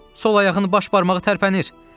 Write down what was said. Sol ayağının baş barmağı tərpənir!